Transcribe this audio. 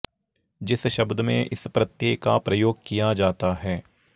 जिस शब्द में इस प्रत्यय का प्रयोग किया जाता है